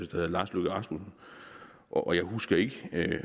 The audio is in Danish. der hed lars løkke rasmussen og jeg husker ikke